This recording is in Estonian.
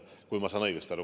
Kui ma saan õigesti aru.